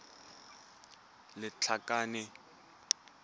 lethakane